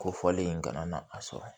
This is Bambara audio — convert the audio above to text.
Ko fɔlen in kana na a sɔrɔ